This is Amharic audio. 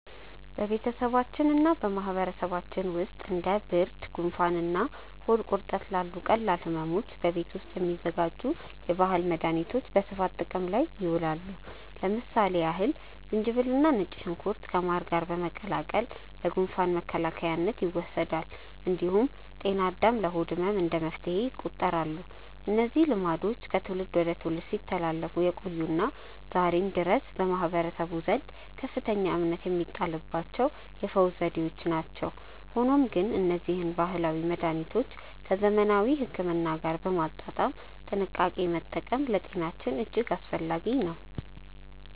በቤተሰባችንና በማህበረሰባችን ውስጥ እንደ ብርድ፣ ጉንፋንና ሆድ ቁርጠት ላሉ ቀላል ሕመሞች በቤት ውስጥ የሚዘጋጁ የባህል መድኃኒቶች በስፋት ጥቅም ላይ ይውላሉ። ለምሳሌ ያህል ዝንጅብልና ነጭ ሽንኩርት ከማር ጋር በመቀላቀል ለጉንፋን መከላከያነት ይወሰዳል። እንዲሁም ጤና አዳም ለሆድ ህመም እንደ መፍትሄ ይቆጠራሉ። እነዚህ ልማዶች ከትውልድ ወደ ትውልድ ሲተላለፉ የቆዩና ዛሬም ድረስ በማህበረሰቡ ዘንድ ከፍተኛ እምነት የሚጣልባቸው የፈውስ ዘዴዎች ናቸው። ሆኖም ግን እነዚህን ባህላዊ መድኃኒቶች ከዘመናዊ ሕክምና ጋር በማጣጣም በጥንቃቄ መጠቀም ለጤናችን እጅግ አስፈላጊ ነው።